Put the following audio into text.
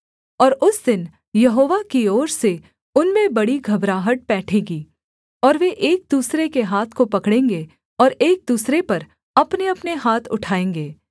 और उस दिन यहोवा की ओर से उनमें बड़ी घबराहट पैठेगी और वे एक दूसरे के हाथ को पकड़ेंगे और एक दूसरे पर अपनेअपने हाथ उठाएँगे